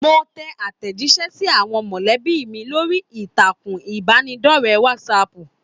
Mo tẹ àtẹjísẹ́ sí àwọn molẹ̀bí mi lórí ìtàkùn ìbánidọ̀rẹ̀ Whatsapp.